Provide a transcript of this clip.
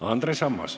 Andres Ammas.